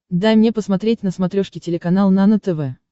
дай мне посмотреть на смотрешке телеканал нано тв